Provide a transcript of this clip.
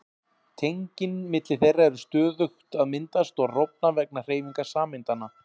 Tengin milli þeirra eru stöðugt að myndast og rofna vegna hreyfingar sameindanna.